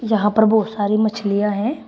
यहां पर बहुत सारी मछलियां हैं।